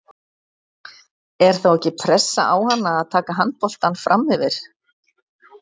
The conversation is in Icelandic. Er þá ekki pressa á hana að taka handboltann framyfir?